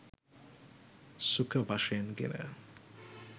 සුඛ වශයෙන් ගෙන